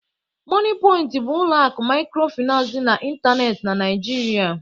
Moniepoint bụ ụlọ akụ microfinance dị n'ịntanetị na Nigeria